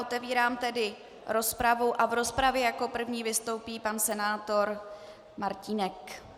Otevírám tedy rozpravu a v rozpravě jako první vystoupí pan senátor Martínek.